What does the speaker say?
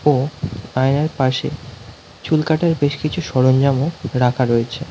ও আয়নার পাশে চুল কাটার বেশ কিছু সরঞ্জামও রাখা রয়েছে।